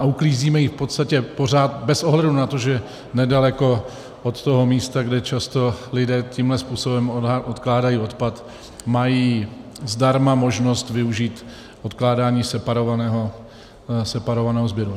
A uklízíme ji v podstatě pořád bez ohledu na to, že nedaleko od toho místa, kde často lidé tímto způsobem odkládají odpad, mají zdarma možnost využít odkládání separovaného sběru.